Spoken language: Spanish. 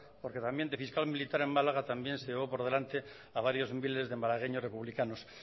porque también de fiscal militar en málaga también se llevó por delante a varios miles de malagueños republicanos